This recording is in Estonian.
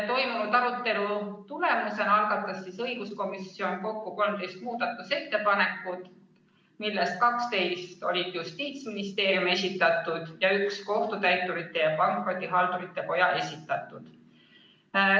Toimunud arutelu tulemusena algatas õiguskomisjon kokku 13 muudatusettepanekut, millest 12 olid Justiitsministeeriumi esitatud ning üks Kohtutäiturite ja Pankrotihaldurite Koja esitatud.